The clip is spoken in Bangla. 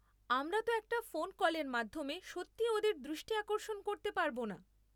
আমরা তো একটা ফোন কলের মাধ্যমে সত্যি ওদের দৃষ্টি আকর্ষণ করতে পারব না।